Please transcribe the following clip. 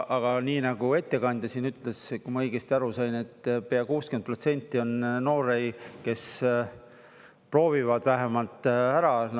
Aga nii nagu ettekandja siin ütles, kui ma õigesti aru sain, et pea 60% on noori, kes proovivad vähemalt ära.